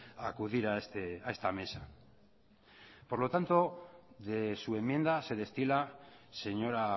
a acudir a esta mesa por lo tanto de su enmienda se destila señora